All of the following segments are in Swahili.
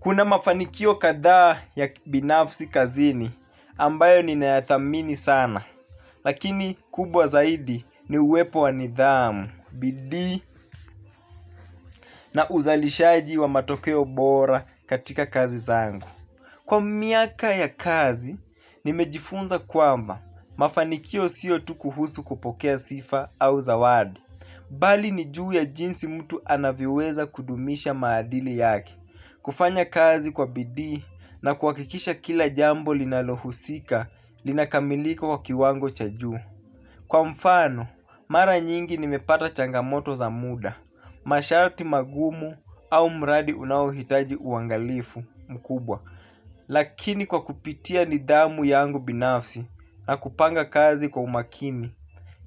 Kuna mafanikio kadhaa ya kibinafsi kazini ambayo ninayathamini sana, lakini kubwa zaidi ni uwepo wa nidhamu, bidii na uzalishaji wa matokeo bora katika kazi zangu. Kwa miaka ya kazi, nimejifunza kwamba mafanikio sio tu kuhusu kupokea sifa au zawadi. Bali ni juu ya jinsi mtu anavyoweza kudumisha maadili yake, kufanya kazi kwa bidii na kuhakikisha kila jambo linalohusika linakamilika kwa kiwango cha juu. Kwa mfano, mara nyingi nimepata changamoto za muda, masharti magumu au mradi unaohitaji uangalifu mkubwa, lakini kwa kupitia nidhamu yangu binafsi na kupanga kazi kwa umakini,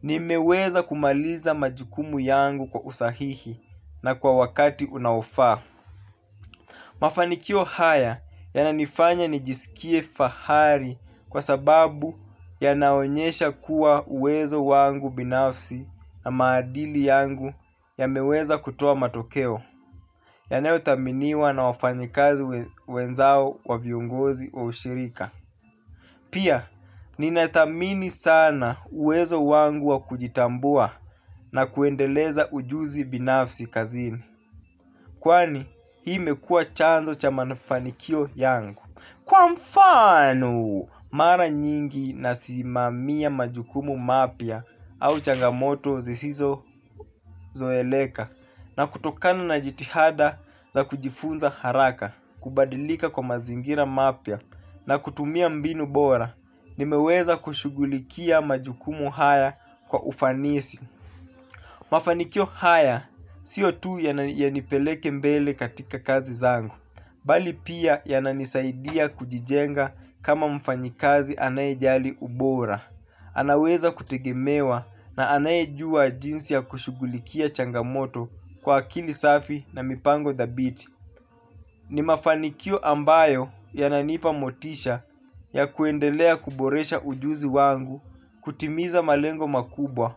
nimeweza kumaliza majukumu yangu kwa usahihi na kwa wakati unaofaa. Mafanikio haya yananifanya nijisikie fahari kwa sababu yanaonyesha kuwa uwezo wangu binafsi na maadili yangu yameweza kutoa matokeo. Yanayothaminiwa na wafanyikazi wenzao wa viongozi wa ushirika. Pia, ninathamini sana uwezo wangu wa kujitambua na kuendeleza ujuzi binafsi kazini. Kwani, hii imekua chanzo cha mafanikio yangu. Kwa mfano, mara nyingi nasimamia majukumu mapya au changamoto zisizo zoeleka. Na kutokana na jitihada za kujifunza haraka, kubadilika kwa mazingira mapya na kutumia mbinu bora. Nimeweza kushughulikia majukumu haya kwa ufanisi. Mafanikio haya sio tu yanipeleke mbele katika kazi zangu bali pia yananisaidia kujijenga kama mfanyikazi anayejali ubora. Anaweza kutegemewa na anayejua jinsi ya kushughulikia changamoto kwa akili safi na mipango dhabiti. Ni mafanikio ambayo yananipa motisha ya kuendelea kuboresha ujuzi wangu, kutimiza malengo makubwa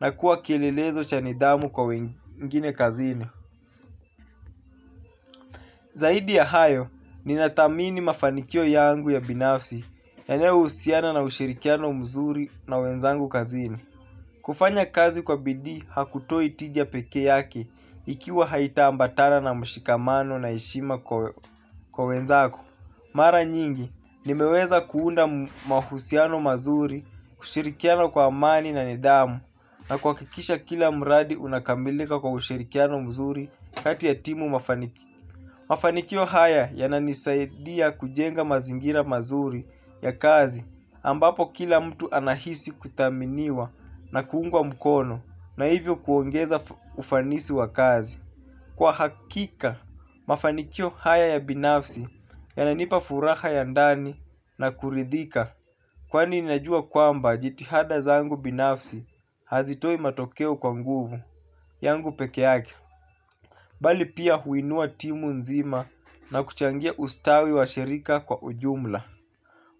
na kuwa kielelezo cha nidhamu kwa wengine kazini. Zaidi ya hayo ninathamini mafanikio yangu ya binafsi yanayohusiana na ushirikiano mzuri na wenzangu kazini. Kufanya kazi kwa bidii hakutoi tija peke yake ikiwa haitaambatana na mshikamano na heshima kwa wenzako. Mara nyingi, nimeweza kuunda mahusiano mazuri, kushirikiana kwa amani na nidhamu na kuhakikisha kila mradi unakamilika kwa ushirikiano mzuri kati ya timu mafaniki. Mafanikio haya yananisaidia kujenga mazingira mazuri ya kazi ambapo kila mtu anahisi kuthaminiwa na kuungwa mkono na hivyo kuongeza ufanisi wa kazi. Kwa hakika, mafanikio haya ya binafsi yananipa furaha ya ndani na kuridhika kwani najua kwamba jitihada zangu binafsi hazitoi matokeo kwa nguvu yangu peke yake. Bali pia huinua timu nzima na kuchangia ustawi wa shirika kwa ujumla.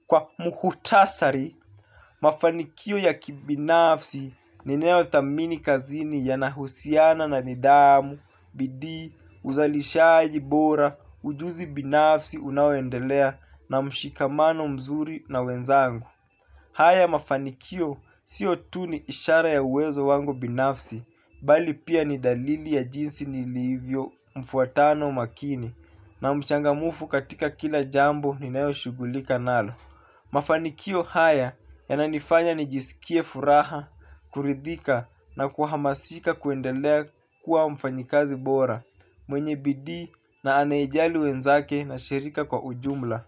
Kwa muhtasari, mafanikio ya kibinafsi ninayothamini kazini yanahusiana na nidhamu, bidii, uzalishaji bora, ujuzi binafsi unaoendelea na mshikamano mzuri na wenzangu. Haya mafanikio sio tu ni ishara ya uwezo wangu binafsi, bali pia ni dalili ya jinsi nilivyo mfuatano makini na mchangamfu katika kila jambo ninayoshughulika nalo. Mafanikio haya yananifanya nijisikie furaha, kuridhika na kuhamasika kuendelea kuwa mfanyikazi bora, mwenye bidii na anayejali wenzake na shirika kwa ujumla.